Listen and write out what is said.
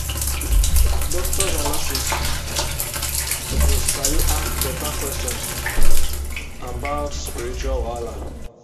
doctors and nurses suppose sabi ask beta questions about spiritual wahala.